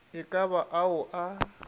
e ka ba ao a